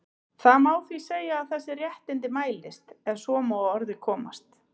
Það má því segja að þessi réttindi mætist, ef svo má að orði komast.